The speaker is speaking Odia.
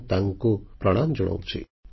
ମୁଁ ତାଙ୍କୁ ପ୍ରଣାମ ଜଣାଉଛି